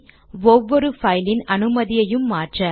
C ஒவ்வொரு பைலின் அனுமதியையும் மாற்ற